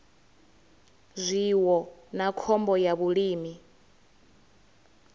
zwiwo na khombo ya vhulimi